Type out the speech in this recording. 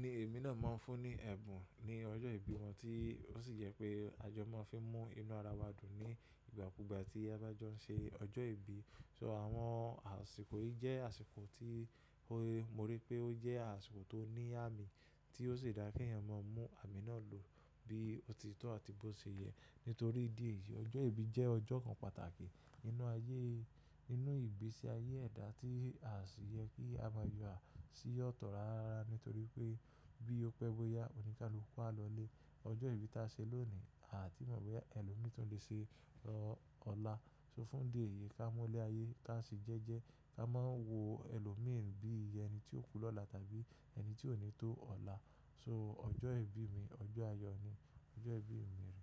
ni èmi náà máa ń fún ní ẹ̀bùn ní ọjọ́ ìbí wọn tí ó sì jẹ́ pé àjọ máa ń fi mú inú ara wa dùn ní ìgbà kúgbà tí a bá jọ ń ṣe ọjọ́ ìbí. So àwọn àsìkò yìí jẹ́ àsìkò tí mo rí pé ó jẹ́ àsìkò tó ní àmì tí ó sì dá kí èèyàn máa mú àmì náà lò bí ó ti tọ́ àti bó ṣe yẹ. Nítorí dí è yìí ọjọ́ ìbí jẹ́ ọjọ́ kan pàtàkì nínú ayé, nínú ìgbésí ayé ẹ̀dá tí a sì yẹ kí a máa ya sí ọ̀tọ̀ rárá nítorí pé bí ó pẹ́ bóyá òní káluaku a lọlé. Ọjọ́ ìbí tí a ṣe lónìí a à tí mọ̀ bóyá ẹlòmíràn tun lè ṣe ọ́ ọ̀la. So fún dè èyí ká mú lé ayé ká se jẹ́ jẹ́ ká máa wo ẹlòmíràn bí ẹni tí ó kú lọ́la tàbí ẹni tí ò ní tó ọ̀la. So ọjọ́ ìbí mi, ọjọ́ ayọ̀ ni. Ọjọ́ ìbí mi rè.